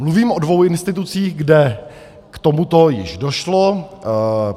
Mluvím o dvou institucích, kde k tomuto již došlo.